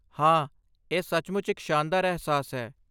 ਹਾਂ, ਇਹ ਸੱਚਮੁੱਚ ਇੱਕ ਸ਼ਾਨਦਾਰ ਅਹਿਸਾਸ ਹੈ।